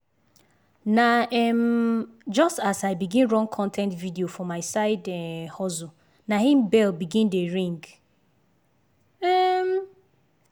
na um just as i begin run con ten t video for my side um hustle na im bell begin dey ring. um